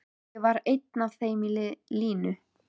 Ég var einn af þeim linu.